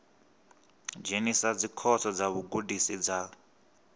dzhenisa dzikhoso dza vhugudisi dza